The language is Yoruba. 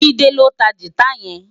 Jide ló ntá gitá yèn